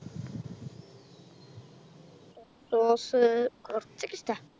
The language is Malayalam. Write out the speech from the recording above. Rose കോർച്ചൊക്കെ ഇഷ്ട്ട